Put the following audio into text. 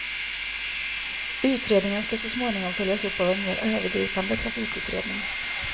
Utredningen skall så småningom följas upp av en mer övergripande trafikutredning.